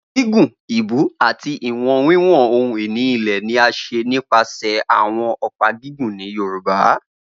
Gigun, ibú ati iwọn wiwọn ohun ini ilẹ ni a ṣe nipasẹ awọn ọpa gigun ni Yorùbá.